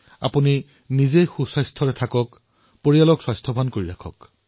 আপোনালোক নিজেও সুস্থ হৈ থাকক পৰিয়ালকো সুস্থ কৰি ৰাখক